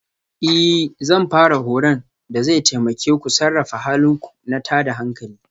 Ee Zan fara horon da zai taimake ku sarrafa halin ku na tada hankali